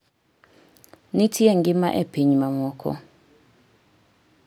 nitie ngima e piny mamoko